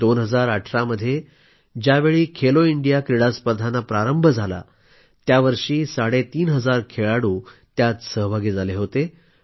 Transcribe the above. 2018मध्ये ज्यावेळी खेलो इंडिया क्रीडास्पर्धा प्रारंभ झाल्या त्यावर्षी साडे तीन हजार खेळाडू सहभागी झाले होते